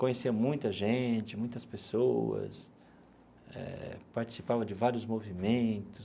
Conhecia muita gente, muitas pessoas, eh participava de vários movimentos.